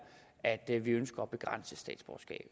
at vi ønsker